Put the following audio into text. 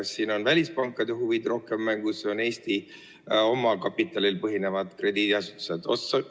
Kas siin on välispankade huvid rohkem mängus või on ka Eesti oma kapitalil põhinevaid krediidiasutusi?